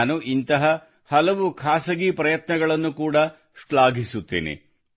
ನಾನು ಇಂತಹ ಹಲವು ಖಾಸಗಿ ಪ್ರಯತ್ನಗಳನ್ನು ಕೂಡ ಶ್ಲಾಘಿಸುತ್ತೇನೆ